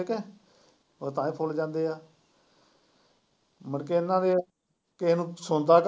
ਠੀਕ ਐ ਉਹ ਤਾਂਹੀ ਖੁੜ ਜਾਂਦੇ ਆ ਮੁੜਕੇ ਇਹਨਾਂ ਦੇ ਵਿੱਚ ਕਿਸੇ ਨੂੰ ਸੁਣਦਾ।